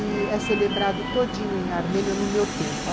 E é celebrado todinho em Armênio no meu tempo.